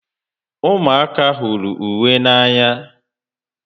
Umuaka huru ukwe n'anya